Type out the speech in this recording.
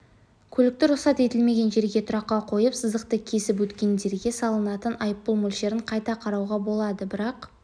көлікті рұқсат етілмеген жерге тұраққа қойып сызықты кесіп өткендерге салынатын айыппұл мөлшерін қайта қарауға болады бірақ